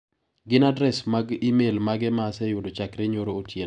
Gin adres mag imel mage ma aseyudo chakre nyoro otieno?